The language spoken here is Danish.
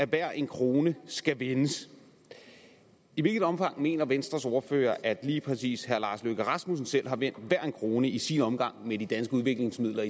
hver en krone skal vendes i hvilket omfang mener venstres ordfører at lige præcis herre lars løkke rasmussen selv har vendt hver en krone i sin omgang med de danske udviklingsmidler